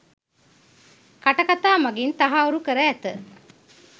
කට කථා මගින් තහවුරු කර ඇත.